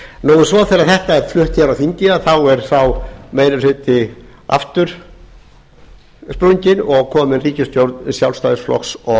svo þegar þetta er flutt hér á þingi þá er sá meiri hluti aftur sprunginn og komin borgarstjórn sjálfstæðisflokks